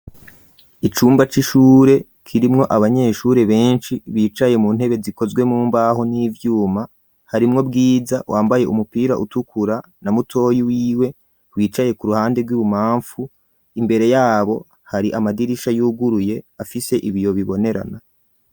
Icumba c'ishure kirimwo abanyeshure benshi bicaye mu ntebe zikozwe mumbaho n'ivyuma, harimwo Bwiza wambaye umupira utukura na mutoyi wiwe wicaye ku ruhande rw'ububamfu imbere yabo hari amadirisha yuguruye afise ibiyo bibonerana.